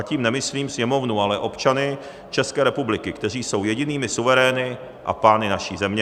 A tím nemyslím Sněmovnu, ale občany České republiky, kteří jsou jedinými suverény a pány naší země.